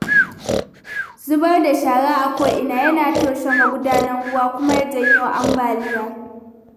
Zubar da shara a ko ina yana toshe magudanan ruwa kuma ya janyo ambaliya.